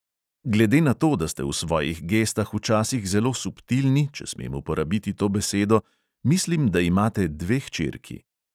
Glede na to, da ste v svojih gestah včasih zelo subtilni, če smem uporabiti to besedo, mislim, da imate dve hčerki.